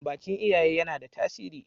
bakin iyaye yana da tasiri